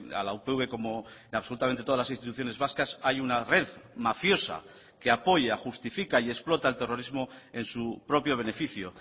a la upv como absolutamente todas las instituciones vascas hay una red mafiosa que apoya justifica y explota el terrorismo en su propio beneficio